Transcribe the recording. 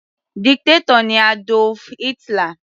Dictator ni Adolf Hitler.